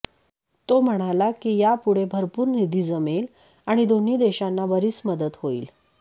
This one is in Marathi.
तो म्हणाला की यामुळे भरपूर निधी जमेल आणि दोन्ही देशांना बरीच मदत होईल